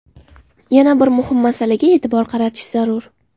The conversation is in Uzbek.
Yana bir muhim masalaga e’tibor qaratish zarur.